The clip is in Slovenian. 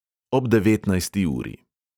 Ob devetnajsti uri.